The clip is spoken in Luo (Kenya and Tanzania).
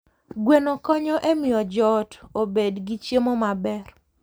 Gweno konyo e miyo joot obed gi chiemo maber.